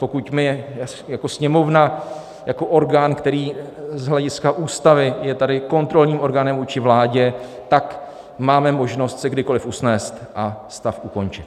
Pokud my jako Sněmovna, jako orgán, který z hlediska Ústavy je tady kontrolním orgánem vůči vládě, tak máme možnost se kdykoliv usnést a stav ukončit.